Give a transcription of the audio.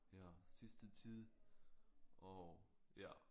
Ja sidste tid og ja